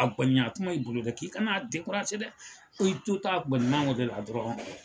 tuma i bolo dɛ k'i kana dɛ ko i to ta a gannima o le la dɔrɔn